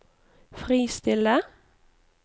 fristille